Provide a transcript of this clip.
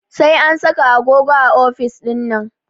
Sai an saka agogo a ofis ɗinnan